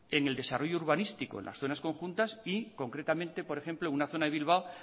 en el desarrollo urbanístico en las zonas conjuntas y concretamente por ejemplo en una zona de bilbao